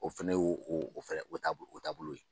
O fɛnɛ ye o o o fɛnɛ o taabolo o taabolo ye.